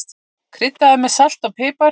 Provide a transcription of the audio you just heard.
Kryddaðu með salti og pipar.